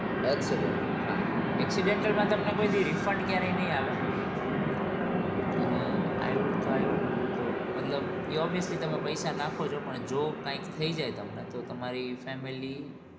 Accidental હાં accidental માં તમને કોઈ દી refund ક્યારે ની આવે અ i wood two સો મતલબ એ obviously તમે પૈસા નાખો છો પણ જો કઈક થઈ જાય તમને તો તમારી family